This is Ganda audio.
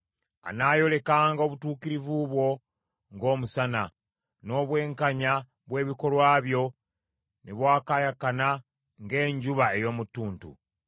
Anaayolekanga obutuukirivu bwo ng’omusana, n’obwenkanya bw’ebikolwa byo ne bwakaayakana ng’enjuba ey’omu ttuntu.